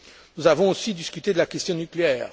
Nous avons aussi discuté de la question nucléaire.